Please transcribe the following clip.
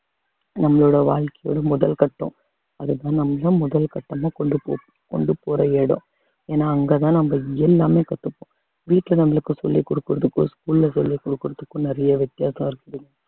நம்மளோட வாழ்க்கையோட முதல் கட்டம் அதுதான் நம்மளும் முதல் கட்டமா கொண்டு போ~ கொண்டு போற இடம் ஏன்னா அங்கதான் நம்ம எல்லாமே கத்துப்போம் வீட்டுல நம்மளுக்கு சொல்லி கொடுக்குறதுக்கும் school ல சொல்லி கொடுக்குறதுக்கும் நிறைய வித்தியாசம் இருக்குது